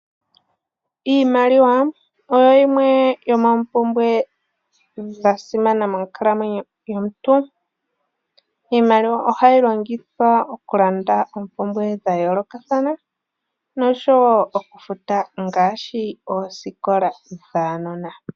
Iimaliwa oyo yimwe yomompumbwe ya simana monkalamweno yo muntu iimaliwa ohayi longithwa okulanda oompumbwe dha yoolokathana no showo okufuta ngaashi oosikola dhaanona.